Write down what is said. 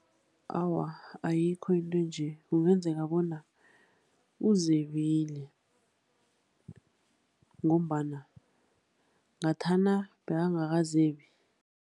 Awa, ayikho into nje. Kungenzeka bona uzebile ngombana ngathana bekangakazebi.